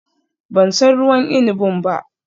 Ban san ruwan inabin ba